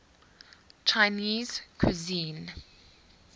chinese cuisine